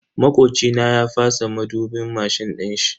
Makoci na ya fasa madubin mashin dinshi.